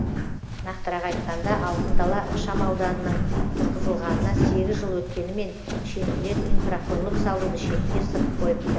нақтырақ айтқанда алтын дала ықшамауданының тұрғызылғанына сегіз жыл өткенімен шенділер инфрақұрылым салуды шетке ысырып қойыпты